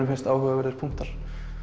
finnst áhugaverðir punktar